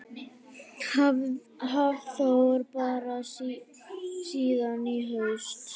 Hafþór: Bara síðan í haust?